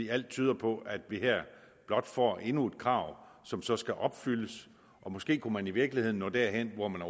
alt tyder på at vi her blot får endnu et krav som så skal opfyldes og måske kunne man i virkeligheden nå derhen hvor man